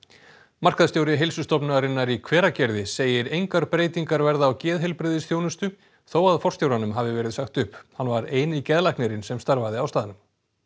markaðsstjóri Heilsustofnunarinnar í Hveragerði segir engar breytingar verða á geðheilbrigðisþjónustu þó að forstjóranum hafi verið sagt upp hann var eini geðlæknirinn sem starfaði á staðnum